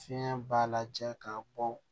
Fiɲɛ b'a lajɛ k'a bɔ